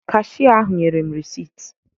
Kashia ahụ nyere m reesit